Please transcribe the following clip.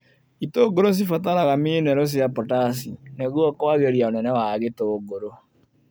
Itũngũrũ cibataraga minerũ cia potasi nĩguo kwagĩria ũnene wa gĩtũngũrũ.